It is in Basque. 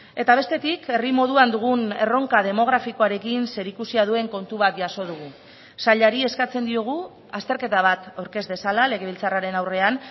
eta bestetik herri moduan dugun erronka demografikoarekin zerikusia duen kontu bat jaso dugu sailari eskatzen diogu azterketa bat aurkez dezala legebiltzarraren aurrean